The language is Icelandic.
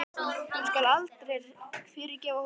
Hún skal aldrei fyrirgefa honum það.